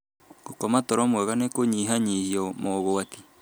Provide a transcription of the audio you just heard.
Gũkoma toro mwega nĩ kũnyihanyihia mogwati.